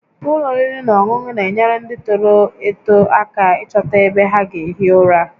Ụlọ oriri na ọṅụṅụ na-enyere ndị tọrọ atọ aka ịchọta ebe ha ga-ehi ụra